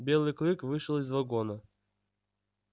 белый клык вышел из вагона